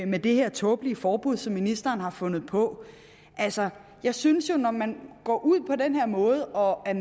med det her tåbelige forbud som ministeren har fundet på altså jeg synes jo at når man går ud på den her måde og er